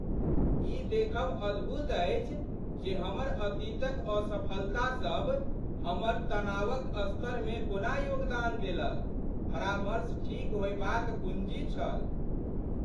ई देखब अद्भुत अछि जे हमर अतीतक असफलतासभ हमर तनावक स्तरमे कोना योगदान देलक। परामर्श ठीक होएबाक कुञ्जी छल।